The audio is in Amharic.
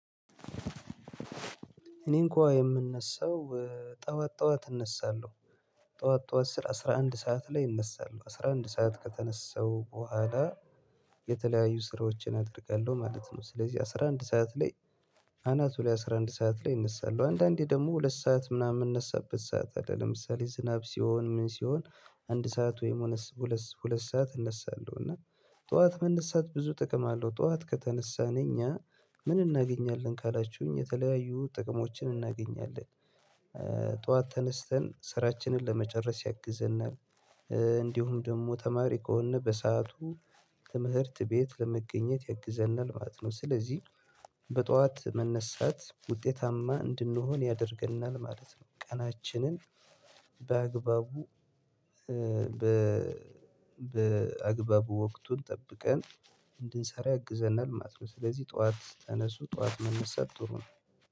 እኔ እንኳ የምነሳው ጠዋት ጠዋት እነሳለሁ። ጠዋት ጠዋት ስር አስራ አንድ ሰዓት ላይ እነሳለሁ አስራ አንድ ሰዓት ከተነሳሁ በኋላ የተለያዩ ስራዎችን አደርጋለሁ ማለት ነው። ስለዚህ አስራ አንድ ሰዓት ላይ አናቱ ላይ አስራ አንድ ሰዓት ላይ እነሳለሁ። አንዳንዴ ደግሞ ሁለት ሰዓት ምናምን የምነሳበት ሰዓት አይደለም ለምሳሌ ዝናብ ሲሆን ምን ሲሆን አንድ ሰዓት ወይም ሁለት ሰዓት እነሳለሁ እና ጠዋት መነሳት ብዙ ጥቅም አለው። ጠዋት ከተነሳን እኛ ምን እናገኛለን ካላችሁኝ የተለያዩ ጥቅሞችን እናገኛለን። ጠዋት ተነስተን ስራችንን ለመጨረስ ያግዘናል። እንዲሁም ደግሞ ተማሪ ከሆነ በሰአቱ ትምህርት ቤት ለመገኘት ያግዘናል ማለት ነው። ስለዚህ በጧት መነሳት ውጤታማ እንድንሆን ያደርገናል ማለት ነው። ቀናችንን በአግባቡ በ በአግባቡ ወቅቱን ጠብቀን እንድንሰራ ያግዘናል ማለት ነው። ስለዚህ ጠዋት ተነሱ ጠዋት መነሳት ጥሩ ነው።